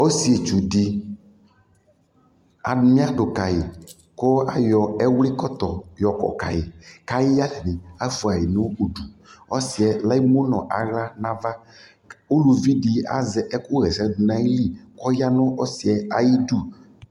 Ɔsitsu dι , anyɛlʋ ka yʋ kʋ ayɔ ɛwlikɔtɔ yɔkɔ kayʋ kayadi ni afua nʋ udu Ɔsi yɛ lemu nʋ aɣla nʋ ava kʋ uluvidι azɛ ɛkʋwɛsɛ dʋ nʋ ayʋ lι kʋ ɔya nʋ ɔsi yɛ ayʋ udu